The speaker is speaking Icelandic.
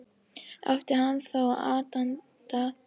Átti hann þá aðdáanda?